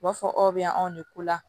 U b'a fɔ aw bɛ yan anw de ko la